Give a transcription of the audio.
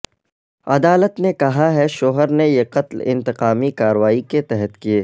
عدالت نے کہا ہے شوہر نے یہ قتل انتقامی کارروائی کے تحت کیے